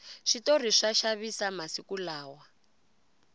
switori swa xavisa masiku lawa